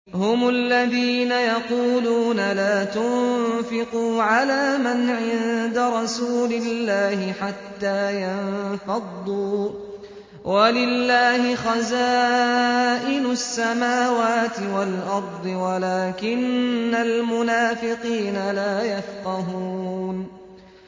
هُمُ الَّذِينَ يَقُولُونَ لَا تُنفِقُوا عَلَىٰ مَنْ عِندَ رَسُولِ اللَّهِ حَتَّىٰ يَنفَضُّوا ۗ وَلِلَّهِ خَزَائِنُ السَّمَاوَاتِ وَالْأَرْضِ وَلَٰكِنَّ الْمُنَافِقِينَ لَا يَفْقَهُونَ